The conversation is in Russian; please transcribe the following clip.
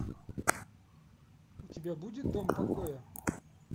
у тебя будет дом покоя